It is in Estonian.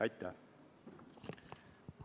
Aitäh!